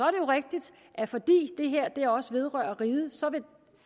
rigtigt at fordi det her også vedrører riget